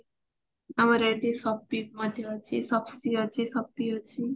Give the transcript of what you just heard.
ଆମର ଏଠି soppy ମଧ୍ୟ ଅଛି shopsy ଅଛି soppy ଅଛି